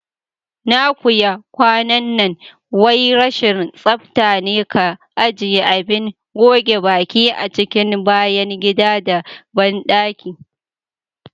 Na kuya kwanan nan wai rashin tsaftane ka ajiye Abin goge baƙi a cikin bayan gida da banɗaki.